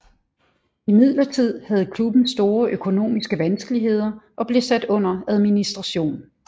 Imidlertid havde klubben store økonomiske vanskeligheder og blev sat under administration